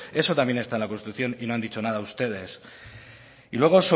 eso también está en la constitución y no han dicho nada ustedes y luego